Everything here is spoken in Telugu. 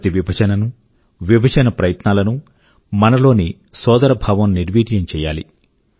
ప్రతి విభజననూ విభజన ప్రయత్నాల నూ మనలోని సోదరభావం నిర్వీర్యం చేయాలి